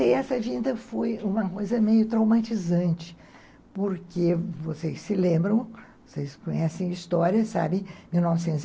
Essa vinda foi, uhum, uma coisa meio traumatizante, porque vocês se lembram, vocês conhecem a história, sabe? Mil novecentos e